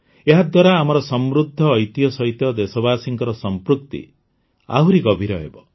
ଏହାଦ୍ୱାରା ଆମର ସମୃଦ୍ଧ ଐତିହ୍ୟ ସହିତ ଦେଶବାସୀଙ୍କର ସଂପୃକ୍ତି ଆହୁରି ଗଭୀର ହେବ